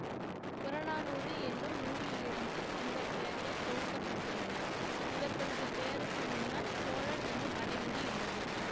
புறநானூறு என்னும் நூலிலிருந்து இந்த பெயர்கள் தொகுக்க பட்டுள்ளன இவர்களது பெயருக்கு முன்னால் சோழன் என்னும் அடைமொழி உள்ளது